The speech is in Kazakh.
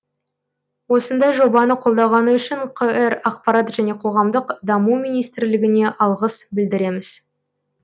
осындай жобаны қолдағаны үшін қр ақпарат және қоғамдық даму министрлігіне алғыс білдіреміз